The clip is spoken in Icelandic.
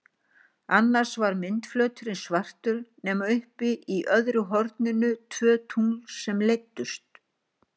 Annars var myndflöturinn svartur nema uppi í öðru horninu tvö tungl sem leiddust.